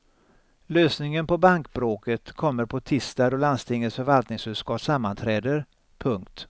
Lösningen på bankbråket kommer på tisdag då landstingets förvaltningsutskott sammanträder. punkt